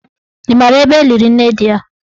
Ị maara ebe eliri nne di ya?